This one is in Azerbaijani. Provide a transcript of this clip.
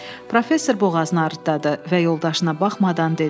Professor boğazını arıtdadı və yoldaşına baxmadan dedi.